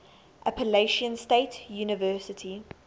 appalachian state university